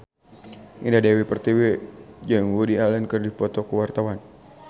Indah Dewi Pertiwi jeung Woody Allen keur dipoto ku wartawan